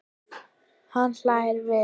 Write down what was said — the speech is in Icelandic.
Hann hlær við.